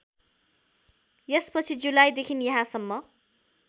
यसपछि जुलाईदेखि यहाँसम्म